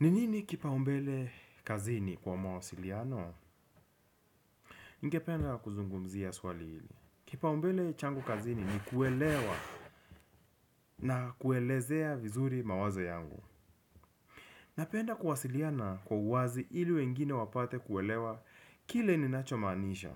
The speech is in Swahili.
Ni nini kipaumbele kazini kwa mawasiliano? Ningependa kuzungumzia swali hili. Kipaumbele changu kazini ni kuelewa na kuelezea vizuri mawazo yangu. Napenda kuwasiliana kwa uwazi ili wengine wapate kuelewa kile ninachomaanisha.